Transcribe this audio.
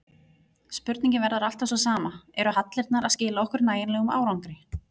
Spurningin verður alltaf sú sama, eru hallirnar að skila okkur nægilegum árangri?